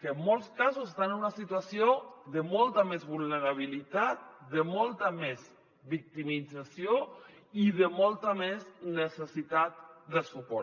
que en molts casos estan en una situació de molta més vulnerabilitat de molta més victimització i de molta més necessitat de suport